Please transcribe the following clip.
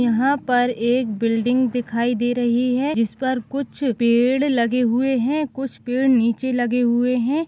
यहाँ पर एक बिल्डिंग दिखाई दे रही है जिस पर कुछ पेड़ लगे हुए है कुछ पेड़ नीचे लगे हुए है।